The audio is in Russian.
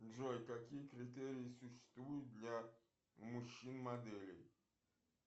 джой какие критерии существуют для мужчин моделей